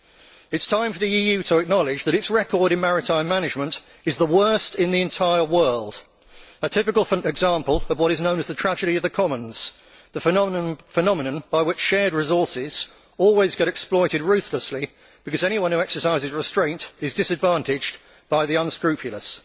It is time for the EU to acknowledge that its record in maritime management is the worst in the entire world, a typical example of what is known as the tragedy of the commons the phenomenon by which shared resources always get exploited ruthlessly, because anyone who exercises restraint is disadvantaged by the unscrupulous.